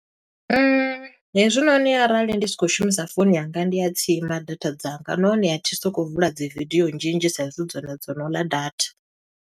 Hezwinoni arali ndi si khou shumisa founu yanga ndi a tsima data dzanga. Nahone a thi sokou vula dzi vidio nnzhi nnzhi sa i zwi hu dzone dzo no ḽa data.